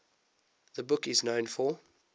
the book is known for